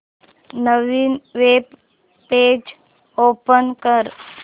नवीन web page open कर